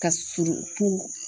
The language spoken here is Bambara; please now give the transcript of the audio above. Ka surun tu